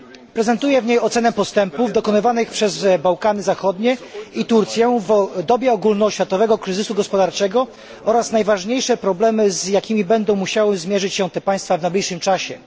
Prezentuje w niej ocenę postępów dokonanych przez Bałkany Zachodnie i Turcję w dobie ogólnoświatowego kryzysu gospodarczego oraz najważniejsze problemy, z jakimi będą musiały zmierzyć się te państwa w najbliższym czasie.